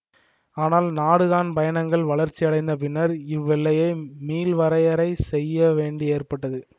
ஆனால் நாடுகாண் பயணங்கள் வளர்ச்சியடைந்த பின்னர் இவ்வெல்லையை மீள்வரையறை செய்யவேண்டி ஏற்பட்டது